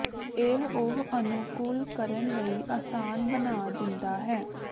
ਇਹ ਉਹ ਅਨੁਕੂਲ ਕਰਨ ਲਈ ਆਸਾਨ ਬਣਾ ਦਿੰਦਾ ਹੈ